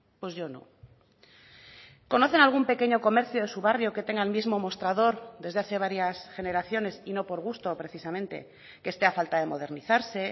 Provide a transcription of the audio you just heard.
pues yo no conocen algún pequeño comercio de su barrio que tenga el mismo mostrador desde hace varias generaciones y no por gusto precisamente que esté a falta de modernizarse